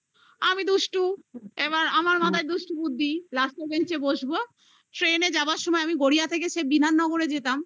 আমি দুষ্টু এবার আবার মাথায় দুষ্টু বুদ্ধি last এর bench এ বসব train যাবার সময় আমি গড়িয়া থেকে সেই বিধাননগর এ যেতাম